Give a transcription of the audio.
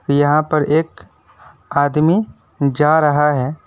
यहां पर एक आदमी जा रहा है।